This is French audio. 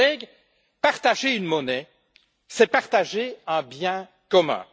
Chers collègues, partager une monnaie, c'est partager un bien commun.